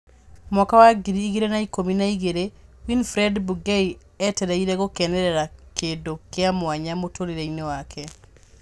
Mwaka wa ngiri igĩrĩ na ikũmi na igĩrĩ, Winfred Bungei etereire gũkenerera kĩndũ kĩa mwanya mũtũrĩre inĩ wake